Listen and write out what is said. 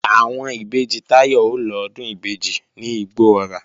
Àwọn ìbejì Táyọ̀ ó lọ Ọdún ìbejì ní Igbó-ọrà